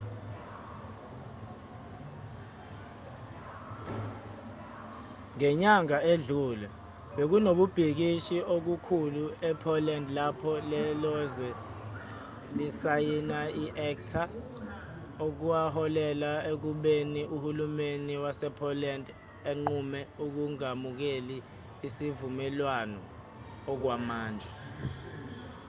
ngenyanga edlule bekunokubhikisha okukhulu e-poland lapho lelozwe lisayina i-acta okwaholela ekubeni uhulumeni wase-poland unqume ukungamukeli isivumelwano okwamanje